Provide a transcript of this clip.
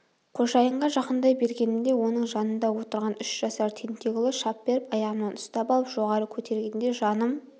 қожайынға жақындай бергенімде оның жанында отырған үш жасар тентек ұлы шап беріп аяғымнан ұстап алып жоғары көтергенде жаным